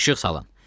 İşıq salın.